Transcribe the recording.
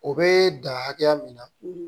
O bee dan hakɛya min na